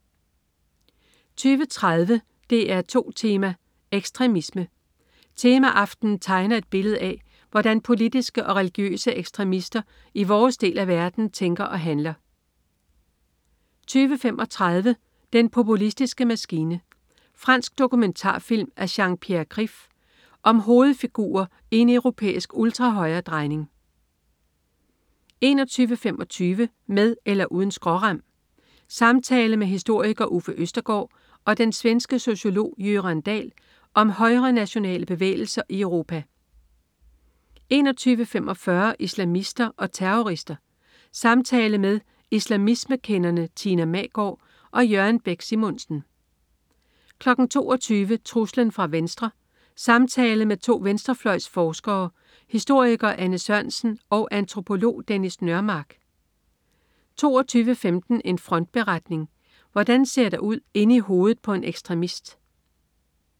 20.30 DR2 Tema: Ekstremisme. Temaaftenen tegner et billede af, hvordan politiske og religiøse ekstremister i vores del af verden tænker og handler 20.35 Den populistiske maskine. Fransk dokumentarfilm af Jean-Pierre Krief. Om hovedfigurer i en europæisk ultrahøjre-drejning 21.25 Med eller uden skrårem. Samtale med historiker Uffe Østergaard og den svenske sociolog Göran Dahl om højrenationale bevægelser i Europa 21.45 Islamister og terrorister. Samtale med islamismekenderne Tina Magaard og Jørgen Bæk Simonsen 22.00 Truslen fra venstre. Samtale med to venstrefløjsforskere, historiker Anne Sørensen og antropolog Dennis Nørmark 22.15 En frontberetning. Hvordan ser der ud inde i hovedet på en ekstremist?